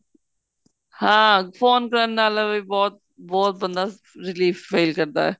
ਹਾਂ phone ਕਰਨ ਨਾਲ ਵੀ ਬਹੁਤ ਬਹੁਤ ਬੰਦਾ relief feel ਕਰਦਾ